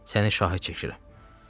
Səni şahid çəkirəm.